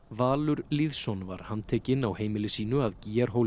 Valur Lýðsson var handtekinn á heimili sínu að